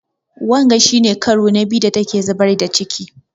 Wanga shi ne ƙaro na biyu da ta ke zubar da ciƙi.